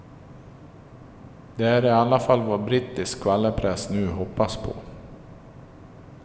Det är i alla fall vad brittisk skvallerpress nu hoppas på.